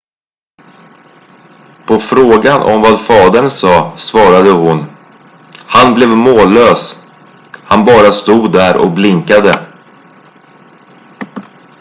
"på frågan om vad fadern sa svarade hon: "han blev mållös - han bara stod där och blinkade.""